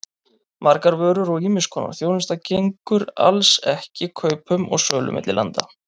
Margar vörur og ýmiss konar þjónusta gengur alls ekki kaupum og sölu milli landa.